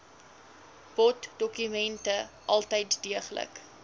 boddokumente altyd deeglik